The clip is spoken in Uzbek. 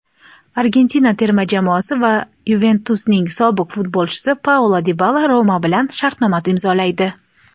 Argentina terma jamoasi va "Yuventus"ning sobiq futbolchisi Paulo Dibala "Roma" bilan shartnoma imzolaydi.